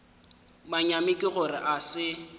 manyami ke gore a se